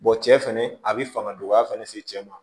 cɛ fɛnɛ a bi fanga dɔgɔya fɛnɛ se ma